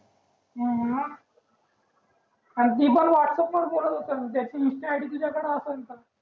मंग ती पण व्हाट्स अँपवर करत असेल ज्याची इन्स्टा आय डी तुजाकड असंन त